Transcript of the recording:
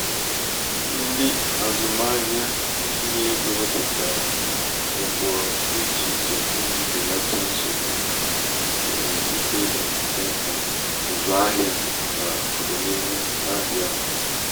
ndị azụmahịa ntinye ego wepụtara ụkpụrụ dị ichè ichè iji belata nsogbu.nwere ike ịdapụta n'ụsụ ahịa n'ọdịnihu ahịa n'ọdịnihu.